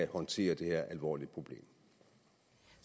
håndtere det her alvorlige problem